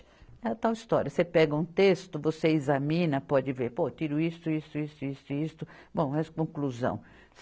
É a tal história, você pega um texto, você examina, pode ver, pô, tiro isso, isso, isso, isso e isto, bom, é conclusão.